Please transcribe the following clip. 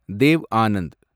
Dev Anand